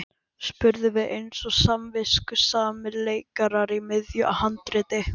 spurðum við eins og samviskusamir leikarar í miðju handriti.